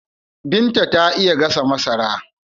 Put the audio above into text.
Binta ta iya gasa masara.